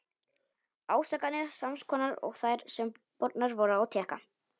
Ásakanir sams konar og þær, sem bornar voru á Tékka.